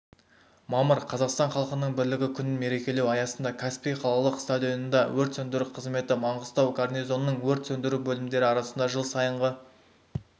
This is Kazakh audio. мамыр қазақстан халқының бірлігі күнін мерекелеу аясында каспий қалалық стадионында өрт сөндіру қызметі маңғыстау гарнизонының өрт сөндіру бөлімдері арасында жыл сайынғы